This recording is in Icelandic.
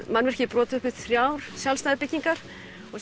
mannvirkið er brotið upp í þrjá sjálfstæðar byggingar og